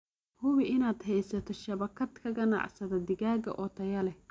Hubi inaad haysato shabakad ka ganacsada digaagga oo tayo leh.